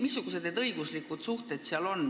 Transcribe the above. Missugused on need õiguslikud suhted?